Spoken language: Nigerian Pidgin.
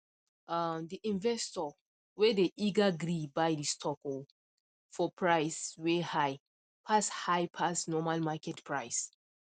um the investor whey dey eager gree buy the stock um for price whey high pass high pass normal market price